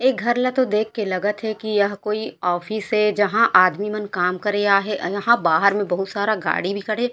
ए घर ला देख कर तो लगत हे की यह कोई ऑफिस ए जहाँ आदमी मन काम करे आहे यहाँँ बाहर में बहुत सारा गाड़ी भी खड़े हे।